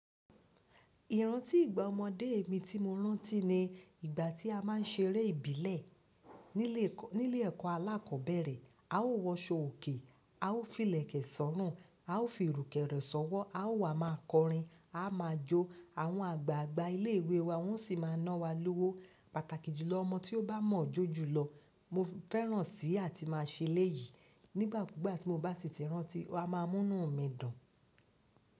Ìrántí ìgbà ọmọdé mi tí mo rántí ni ìgbà tí a má ń ṣeré ìbílẹ̀ nílé, nílé ẹ̀kọ́ alákọ̀ọ́bẹ̀rẹ̀. A ó wọṣọ òkè, a ó fi ìlẹ̀kẹ̀ sọ́rùn, a ó fi ìrùkẹ̀rẹ̀ sọ́wọ́, a ó wá máa kọrin, a máa jó, àwọn àgbààgbà ilé ìwé wa wọn sì máa ná wa lówó. Pàtàkì jùlọ, ọmọ tí ó bá mọ̀ ọ́ jó jùlọ, mo fẹ́ràn si áà tí máa ṣe eléyìí. Nígbà kúgbà tí mo bá sì ti rántí, a máa mú inú mi dùn.